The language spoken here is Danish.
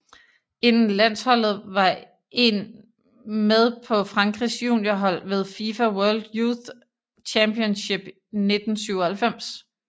Inden landsholdet var en med på Frankrigs juniorhold ved FIFA World Youth Championship 1997